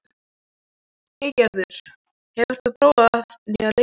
Eygerður, hefur þú prófað nýja leikinn?